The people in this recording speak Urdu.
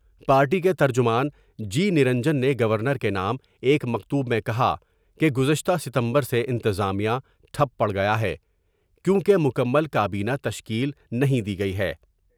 پارٹی کے ترجمان جی نرنجن نے گورنر کے نام ایک مکتوب میں کہا کہ گزشتہ ستمبر سے انتظامیہ ٹھپ پڑ گیا ہے کیوں کہ مکمل کابینا تشکیل نہیں دی گئی ہے ۔